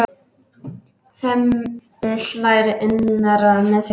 Hemmi hlær innra með sér.